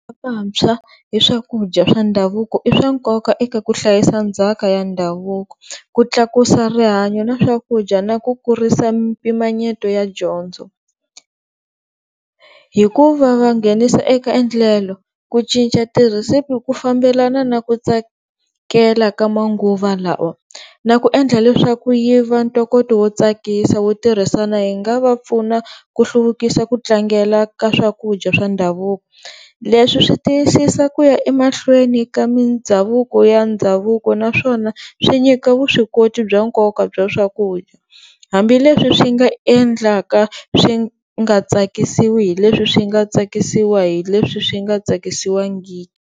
Vantshwa hi swakudya i swa nkoka eka ku hlayisa ndzhaka ya ndhavuko, ku tlakusa rihanyo na swakudya na ku kurisa mimpimanyeto ya dyondzo, hikuva va nghenisa eka endlelo ku cinca tirhesiphi ku fambelena na ku tsakela ka manguva lawa na ku endla leswaku yi va ntokoto wo tsakisa wo tirhisana hi nga va pfuna ku hluvukisa ku tlangela ka swakudya swa ndhavuko. Leswi swi tiyisisa ku ya emahlweni ka mindhavuko ya ndhavuko naswona swi nyika vuswikoti bya nkoka bya swakudya hambileswi swi nga endlaka swi nga tsakisiwi hi leswi swi nga tsakisiwa hi leswi swi nga tsakisiwangiki.